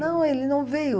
Não, ele não veio.